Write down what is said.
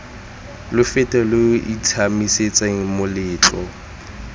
lo fete lo itshiamisetseng moletlo